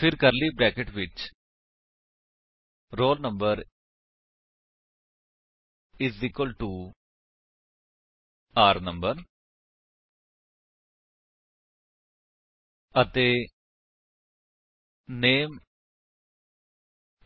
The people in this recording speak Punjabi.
ਫਿਰ ਕਰਲੀ ਬਰੈਕੇਟ ਵਿੱਚ roll number is equal to r no ਅਤੇ ਨਾਮੇ